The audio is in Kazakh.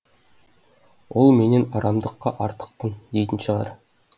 ол менен арамдыкқа артықпын дейтін шығар